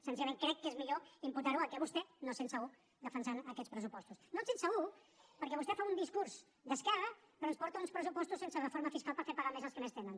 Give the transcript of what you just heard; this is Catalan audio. senzillament crec que és millor imputar ho al fet que vostè no es sent segut defensant aquests pressupostos no es sent segur perquè vostè fa un discurs d’esquerra però ens porta uns pressupostos sense reforma fiscal per fer pagar més als que més tenen